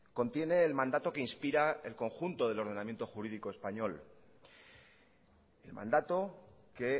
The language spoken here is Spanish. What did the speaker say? contiene el mandato que inspira el conjunto del ordenamiento jurídico español el mandato que